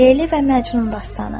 Leyli və Məcnun dastanı.